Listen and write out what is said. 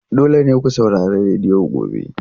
Dole ne ku saurari rediyo gobe!